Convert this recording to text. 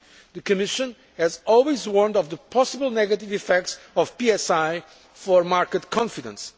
The Commission has always warned of the possible negative effects of PSI on market confidence.